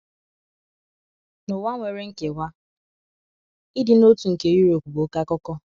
N’ụwa nwere nkewa, ịdị n’otu nke Europe bụ oké akụkọ.